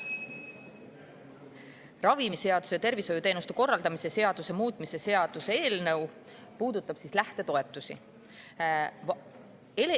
Ravimiseaduse ja tervishoiuteenuste korraldamise seaduse muutmise seaduse eelnõu puudutab lähtetoetusi.